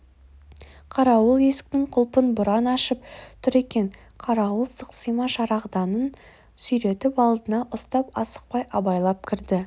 қарауыл есіктің құлпын бұрап ашып тұр екен қарауыл сықсима шырағданын сүйретіп алдына ұстап асықпай абайлап кірді